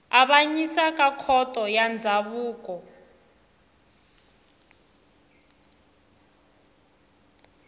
avanyisa ka khoto ya ndzhavuko